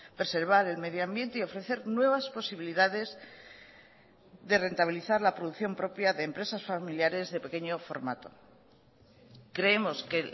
preservar el medio ambiente y ofrecer nuevas posibilidades de rentabilizar la producción propia de empresas familiares de pequeño formato creemos que